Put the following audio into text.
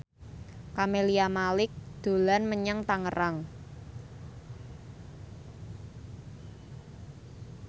Camelia Malik dolan menyang Tangerang